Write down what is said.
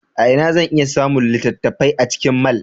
A ina zan iya samun littattafai a cikin mall?